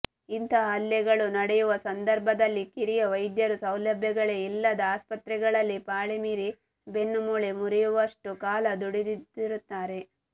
ಇಂತಹ ಹಲ್ಲೆಗಳು ನಡೆಯುವ ಸಂದರ್ಭದಲ್ಲಿ ಕಿರಿಯ ವೈದ್ಯರು ಸೌಲಭ್ಯಗಳೇ ಇಲ್ಲದ ಆಸ್ಪತ್ರೆಗಳಲ್ಲಿ ಪಾಳಿಮೀರಿ ಬೆನ್ನುಮೂಳೆ ಮುರಿಯುವಷ್ಟು ಕಾಲ ದುಡಿದಿರುತ್ತಾರೆ